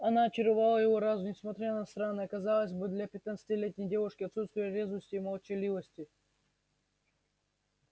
она очаровала его разум несмотря на странное казалось бы для пятнадцатилетней девушки отсутствие резвости и молчаливость